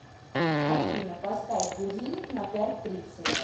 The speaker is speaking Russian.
афина поставь будильник на пять тридцать